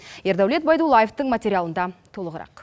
ердәулет байдуллаевтың материалында толығырақ